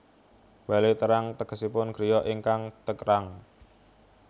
Bale Terang tegesipun griya ingkang terang